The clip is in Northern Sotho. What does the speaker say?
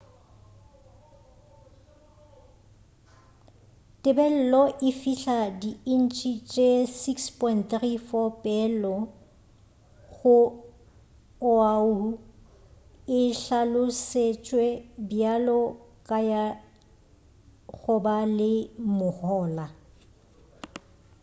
tebelelo e fila di inche tše 6.34 peelong go oahu e hlalosetšwe bjalo ka ya goba le mohola